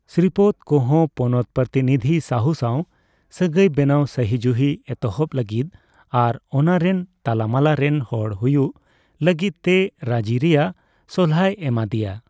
ᱥᱨᱤᱯᱚᱛ ᱠᱚ ᱦᱚ ᱯᱚᱱᱚᱛ ᱯᱨᱚᱛᱤᱱᱤᱫᱷᱤ ᱥᱟᱦᱩ ᱥᱟᱣ ᱥᱟᱹᱜᱟᱹᱭ ᱵᱮᱱᱟᱣ ᱥᱟᱦᱤᱡᱩᱦᱤ ᱮᱛᱚᱦᱚᱯ ᱞᱟᱹᱜᱤᱛ ᱟᱨ ᱚᱱᱟᱨᱮᱱ ᱛᱟᱞᱟᱢᱟᱞᱟ ᱨᱮᱱ ᱦᱚᱲ ᱦᱩᱭᱩᱠ ᱞᱟᱹᱜᱤᱛ ᱛᱮ ᱨᱟᱹᱡᱤᱠ ᱨᱮᱭᱟᱜ ᱥᱟᱞᱦᱟᱭ ᱮᱢᱟᱫᱤᱭᱟ ᱾